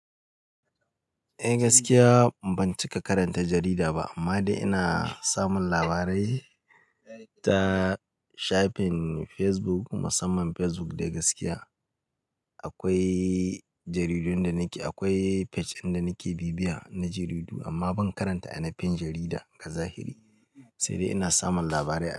Eh gaskiya ban cika karanta jarida ba amma dai ina samun labarai ta shafin Facebook musamman Facebook da gaskiya. Akwai jaridun da nake, akwai page dinda nike bibiya na jaridu amma ban karanta ainahin jarida azahiri. Sai dai ina samun labarai.